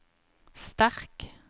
sterk